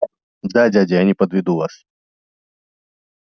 да дядя я не подведу вас